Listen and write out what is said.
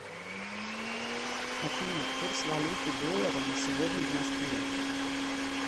афина курс валюты доллара на сегодня в москве